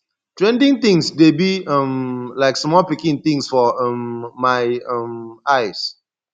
trending things dey be um like small pikin things for um my um eyes